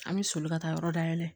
An bɛ soli ka taa yɔrɔ dayɛlɛ